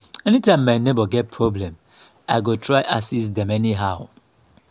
anytime my neighbor get problem i go try assist dem anyhow.